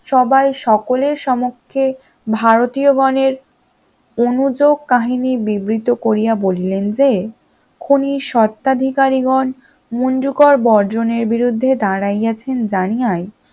সবাই সকলের সমূক্ষে ভারতীয় গণের অনুযোগ কাহিনী বিবৃত করিয়া বলিলেন যে খুনি স্বত্বাধিকারীগণ মুঞ্জ কর বর্জনের বিরুদ্ধে দাঁড়াইয়াছেন জানিয়ায়